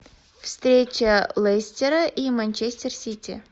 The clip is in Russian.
встреча лестера и манчестер сити